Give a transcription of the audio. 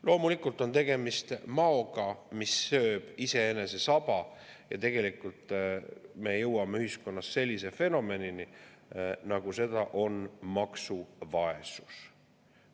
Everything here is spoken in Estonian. Loomulikult on tegemist maoga, kes sööb iseenese saba, ja tegelikult me jõuame ühiskonnas sellise fenomenini, nagu seda on maksuvaesus.